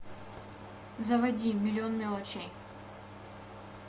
заводи миллион мелочей